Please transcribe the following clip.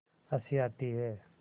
हँसी आती है